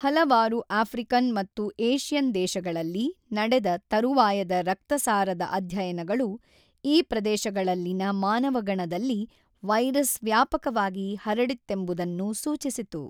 ಹಲವಾರು ಆಫ್ರಿಕನ್ ಮತ್ತು ಏಷ್ಯನ್ ದೇಶಗಳಲ್ಲಿ ನಡೆದ ತರುವಾಯದ ರಕ್ತಸಾರದ ಅಧ್ಯಯನಗಳು ಈ ಪ್ರದೇಶಗಳಲ್ಲಿನ ಮಾನವಗಣದಲ್ಲಿ ವೈರಸ್ ವ್ಯಾಪಕವಾಗಿ ಹರಡಿತ್ತೆಂಬುದನ್ನು ಸೂಚಿಸಿತು.